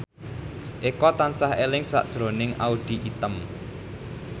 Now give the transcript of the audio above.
Eko tansah eling sakjroning Audy Item